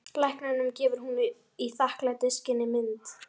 Lækninum gefur hún í þakklætisskyni mynd.